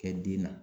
Kɛ den na